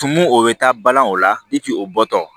Tumu o bɛ taa balani o la o bɔtɔ